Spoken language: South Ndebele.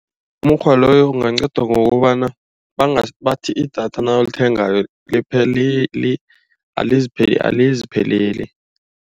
Umukghwa loyo ungaqeda ngokobana bathi idatha nawulithengako alizipheleli.